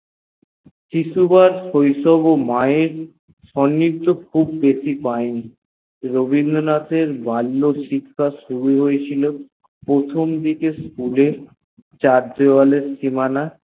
শিশুকলে মেয়ের সননীধ খুব বেশি পয়েনি রবীন্দ্রনাথ এর বাল্য জীবনের শিখহা শুরু হয়েছিল প্রথম দিকে School এ চার দেওয়ালের সীমানা